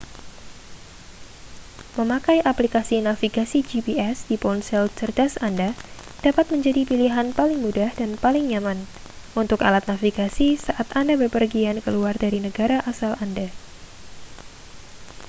memakai aplikasi navigasi gps di ponsel cerdas anda dapat menjadi pilihan paling mudah dan paling nyaman untuk alat navigasi saat anda bepergian keluar dari negara asal anda